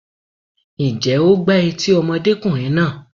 Ǹjẹ́ o gbá etí ọmọdékùnrin náà?